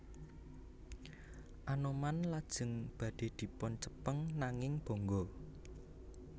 Anoman lajeng badhe dipun cepeng nanging bonggo